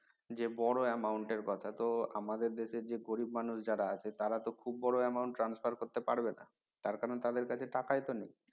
যে বড় amount এর কথা তো আমাদের দেশের যে গরিব মানুষ যারা আছে তারা তো খুব বড় amount transfer করতে পারবে না তার কারন তাদের কাছে তো টাকাই তো নেই